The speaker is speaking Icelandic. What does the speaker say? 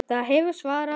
Þar hefurðu svarið.